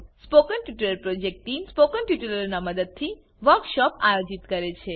spoken tutorial project ટીમ160 spoken ટ્યુટોરીયલોનાં ઉપયોગથી વર્કશોપોનું આયોજન કરે છે